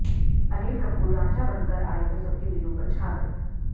अनिल कपूर रांझा बनकर आए तो सबके दिलों पर छा गए